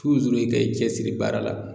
ka i cɛsiri baara la